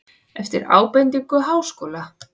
Eftir ábendingu Háskóla